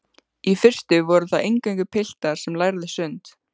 Í fyrstu voru það eingöngu piltar sem lærðu sund.